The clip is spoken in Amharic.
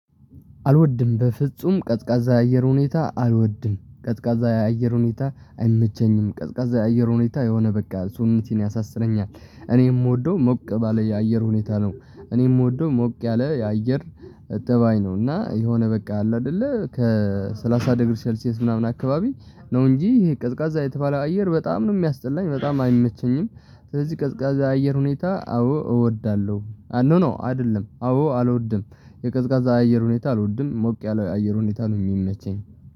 አልወድም በፍጹም ቀዝቃዛ አየር ሁኔታ አልወድም ቀዝቃዛ የአየር ሁኔታ አይመቸኝም ቀዝቃዛ የአየር ሁኔታ የሆነ በቃ ቶንሱን ያሳስበኛል። እኔ የምወደው ሞቅ ባለ የአየር ሁኔታ ነው። እኔ የምወደው ሞቅ ያለ የአየር ጠባይ ነው። እና የሆነ በቃ አለ አይደለ ከሰላሳ ደግረ ሼልሲየስ ምናምን አካባቢ ነው። እንጂ ይሄ ቀዝቃዛ የተባለው አየር በጣም ነው የሚያስጠላኝ በጣም አይመቸኝም። ስለዚህ ቀዝቃዛ አየር ሁኔታ አዎ እወዳለሁ ኖ ኖ አይደለም አዎ አልወድም። የቀዝቃዛ አየር ሁኔታ አልወድም ሞቅ ያለው የአየር ሁኔታ ነው የሚመቸኝ።